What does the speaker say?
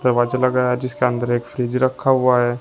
Watch लगा है जिसके अंदर एक फ्रिज रखा हुआ है।